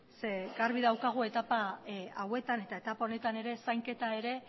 zeren eta garbi daukagu etapa hauetan eta etapa honetan ere zainketa ere